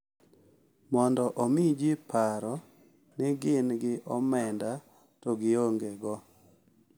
Mondo omi ji paro ni gin gi omenda to gionge go.